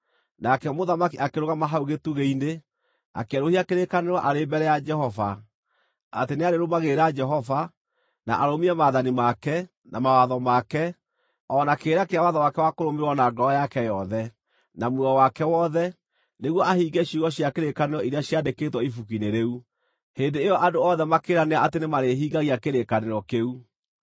Nake mũthamaki akĩrũgama hau gĩtugĩ-inĩ, akĩerũhia kĩrĩkanĩro arĩ mbere ya Jehova, atĩ nĩarĩrũmagĩrĩra Jehova, na arũmie maathani make, na mawatho make, o na kĩrĩra kĩa watho wake wa kũrũmĩrĩrwo na ngoro yake yothe, na muoyo wake wothe, nĩguo ahingie ciugo cia kĩrĩkanĩro iria ciaandĩkĩtwo ibuku-inĩ rĩu. Hĩndĩ ĩyo andũ othe makĩĩranĩra atĩ nĩmarĩhingagia kĩrĩkanĩro kĩu.